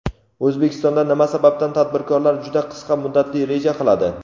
O‘zbekistonda nima sababdan tadbirkorlar juda qisqa muddatli reja qiladi.